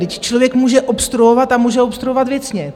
Vždyť člověk může obstruovat a může obstruovat věcně.